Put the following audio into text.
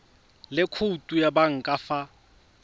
le khoutu ya banka fa